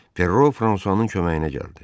Ferro Fransuanın köməyinə gəldi.